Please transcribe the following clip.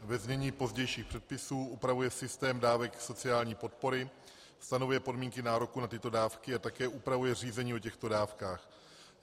- ve znění pozdějších předpisů, upravuje systém dávek sociální podpory, stanovuje podmínky nároku na tyto dávky a také upravuje řízení o těchto dávkách.